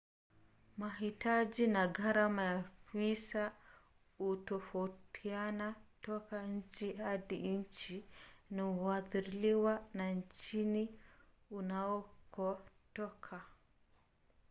mahitaji na gharama ya visa hutofautiana toka nchi hadi nchi na huathiriwa na nchini unakotoka